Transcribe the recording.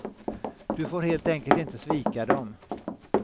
Du får helt enkelt inte svika dem.